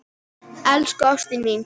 Elsku ástin mín.